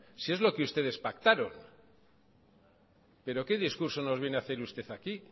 si es lo que ustedes pactaron pero qué discurso nos viene a hacer usted aquí